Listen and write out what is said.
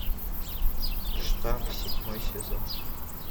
штамп седьмой сезон